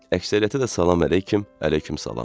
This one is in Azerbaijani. Əksəriyyətə də salam əleyküm, əleyküm salam.